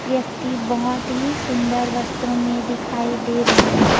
व्यक्ति बहोत ही सुंदर वस्त्रो में दिखाई दे रहे हे।